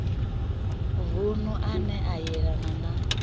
vunu ane a yelana na